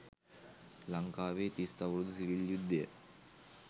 ලංකාවේ තිස් අවුරුදු සිවිල් යුද්ධය